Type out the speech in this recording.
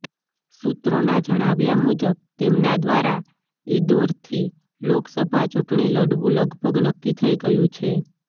સૂત્રોના જણાવ્યા મુજબ તેમના દ્વારા ઈદોરથી લોકસભા ચૂંટણી લડવુ લગભગ નક્કી થઈ ગયુ છે